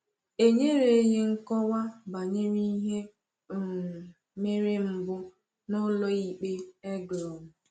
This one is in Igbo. E nyereghị nkọwa banyere ihe um mere mbụ n’ụlọ ikpe Eglon.